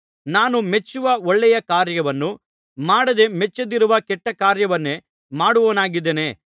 ನಾನು ಮೆಚ್ಚುವ ಒಳ್ಳೆಯ ಕಾರ್ಯವನ್ನು ಮಾಡದೆ ಮೆಚ್ಚದಿರುವ ಕೆಟ್ಟ ಕಾರ್ಯವನ್ನೇ ಮಾಡುವವನಾಗಿದ್ದೇನೆ